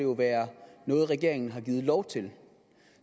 jo være noget regeringen har givet lov til